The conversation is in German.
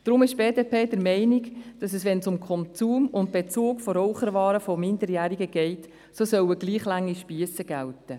Deshalb ist die BDP der Meinung, dass für den Konsum und den Bezug von Raucherwaren für Minderjährige dieselben Regeln gelten sollten.